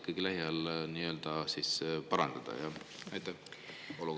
Kuidas seda olukorda saaks lähiajal parandada?